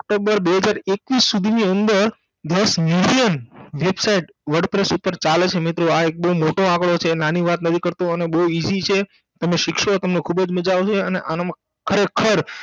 તો બે હજાર એકવીસ સુધીની અંદર દસ Million website wordpress ઉપેર ચાલે છે મિત્રો આ એક બહુ મોટો આકળો છે નાંની વાત નથી કરતો અને બહુ easy છે તમે શિખસો તમને ખૂબજ મજા આવસે અને આનાંમાં ખરેખર